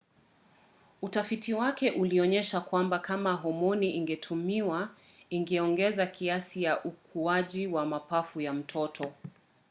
utafiti wake ulionyesha kwamba kama homoni ingetumiwa ingeongeza kasi ya ukuaji wa mapafu ya mtoto